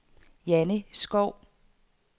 Janni Schou